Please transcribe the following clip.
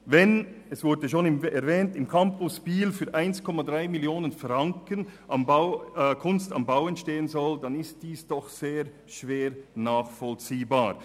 Wenn im Campus Biel für 1,3 Mio. Franken «Kunst am Bau» entstehen soll, wie schon erwähnt wurde, dann ist dies sehr schwer nachvollziehbar.